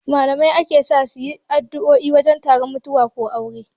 Malamai ake sa suyi addo'o'i wajen taron mutuwa ko aure